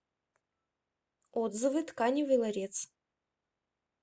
отзывы тканевый ларец